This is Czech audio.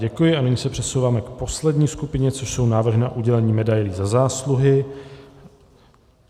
Děkuji a nyní se přesouváme k poslední skupině, což jsou návrhy na udělení medailí Za zásluhy.